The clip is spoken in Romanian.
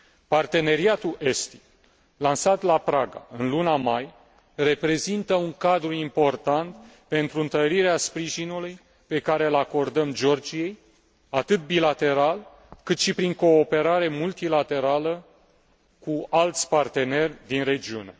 Parteneriatul estic, lansat la Praga în luna mai, reprezintă un cadru important pentru întărirea sprijinului pe care îl acordăm Georgiei, atât bilateral, cât și prin cooperare multilaterală cu alți parteneri din regiune.